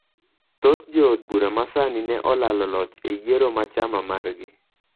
Thoth jood bura ma sani, ne olalo loch e yiero ma chama margi.